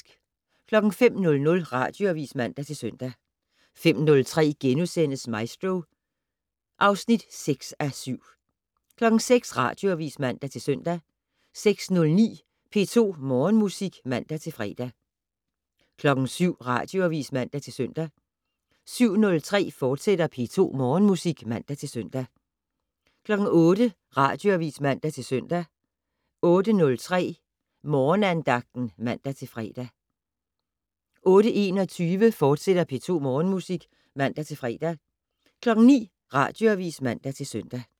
05:00: Radioavis (man-søn) 05:03: Maestro (6:7)* 06:00: Radioavis (man-søn) 06:09: P2 Morgenmusik (man-fre) 07:00: Radioavis (man-søn) 07:03: P2 Morgenmusik, fortsat (man-søn) 08:00: Radioavis (man-søn) 08:03: Morgenandagten (man-fre) 08:21: P2 Morgenmusik, fortsat (man-fre) 09:00: Radioavis (man-søn)